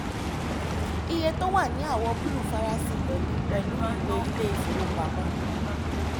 iye tó wà ní àwọ̀ búlù farasin pẹ̀lú pẹ̀lú ìwé ilé ìfowópamọ́.